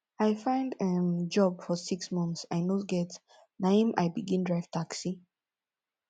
i find um job for six months i no get na im i begin drive taxi